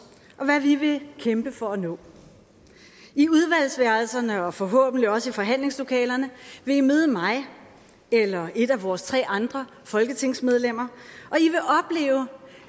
og hvad vi vil kæmpe for at nå i udvalgsværelserne og forhåbentlig også i forhandlingslokalerne vil i møde mig eller et af vores tre andre folketingsmedlemmer